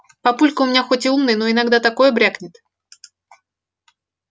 папулька у меня хоть и умный но иногда такое брякнет